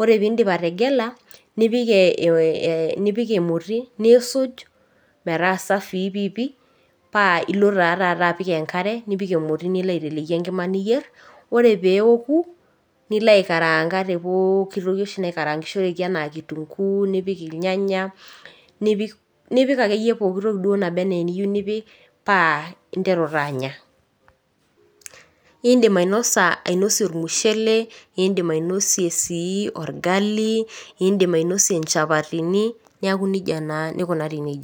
ore piindip ategela nipik ee emoti nisuj metaa safii piipii paa ilo taa taata apik enkare nipik emoti niloaiteleki enkima niyierr ore peeoku niloaikaraanga te pookitoki oshi naikarangishoreki anaa  kitunguu nipik ilnyanya nipik, nipik akeyie pooki toki duo naba anaaeniyiu nipik paa [aa] interu taa anya. Iindim ainosa, ainosie olmushele, iindim ainosie sii orgalii, indim ainosie inchapatini, neaku nija naa nikunari neija.